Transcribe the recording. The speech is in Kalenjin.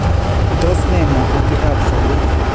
Tos ne magutikab sobeet?